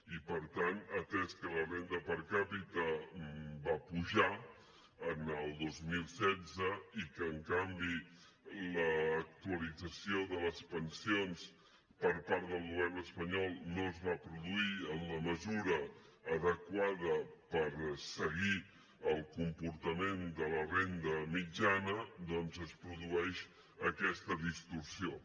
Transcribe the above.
i per tant atès que la renda capita va apujar en el dos mil setze i que en canvi l’actualització de les pensions per part del govern espanyol no es va produir en la mesura adequada per seguir el comportament de la renda mitjana doncs es produeix aquesta distorsió